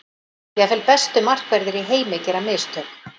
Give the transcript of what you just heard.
Jafnvel bestu markverðir í heim gera mistök.